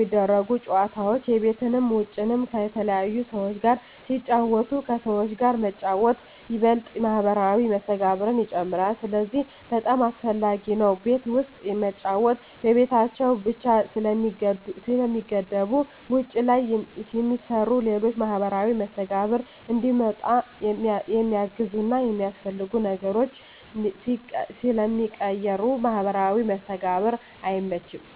ሚደረጉት ጨወታዎች የቤትንም የውጭንም ከተለያዩ ሰዎች ጋር ስለሚጫወቱ ከሰዎች ጋር መጫወት ይበልጥ ማህበራዊ መስተጋብርን ይጨምራል ስለዚህ በጣም አሰፈላጊ ነው ቤት ውስጥ መጫወት በቤታቸው ብቻ ስለሚገደቡ ውጭ ላይ የሚሰሩ ሌሎች ለማህበራዊ መስተጋብር እንዲመጣ የሚያግዙና የሚያስፈልጉ ነገሮች ስለሚቀሩ ለማህበራዊ መስተጋብር አይመችም።